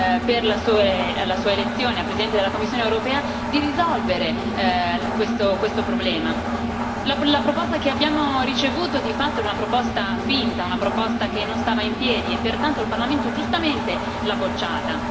in occasione della sua elezione a Presidente della Commissione europea, di risolvere questo problema. La proposta che abbiamo ricevuto di fatto è una proposta finta, una proposta che non stava in piedi e pertanto il Parlamento giustamente l'ha bocciata.